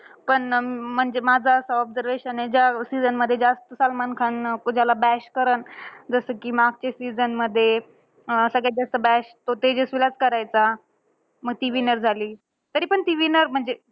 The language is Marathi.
पण अं म्हणजे माझं असं observation आहे. ज्या season मध्ये जास्त सलमान खान अं ज्याला bash करलं. जसं कि मागच्या season मध्ये अं तो सगळ्यात जास्त bash तो तेजस्वीलाचं करायचा. मग ती winner झाली. तरीपण ती winner म्हणजे